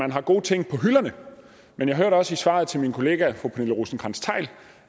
man har gode ting på hylderne men jeg hørte også i svaret til min kollega fru pernille rosenkrantz theil